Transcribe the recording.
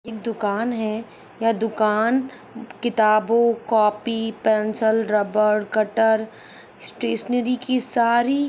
एक दूकान है यह दूकान किताबों copy pencil rubber cutter stationery की सारी--